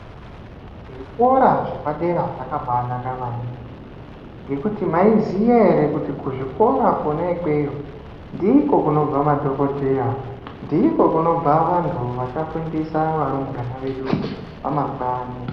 Zvikora zvepadera zvakabanaka maningi ngekuti maiziya ere kuti kuzvikora Kona ikweyo ndiko kunobva madhokoteya, ndiko kunobva vantu vachafundisa varumbwana vedu vamangwani.